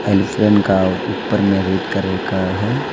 Aeroplane का ऊपर में रेड कलर का है।